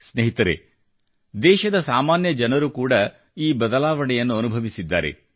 ಸ್ನೇಹಿತರೆ ದೇಶದ ಸಾಮಾನ್ಯ ಜನರು ಕೂಡ ಈ ಬದಲಾವಣೆಯನ್ನು ಅನುಭವಿಸಿದ್ದಾರೆ